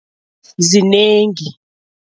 Zinengi.